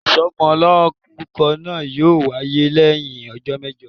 isómolorúkó naa yọọ wayé leyin òjó mejò.